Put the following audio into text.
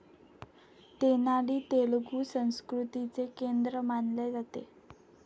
तेनाली तेलुगू संस्कृतीचे केंद्र मानले जाते.